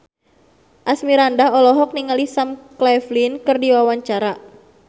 Asmirandah olohok ningali Sam Claflin keur diwawancara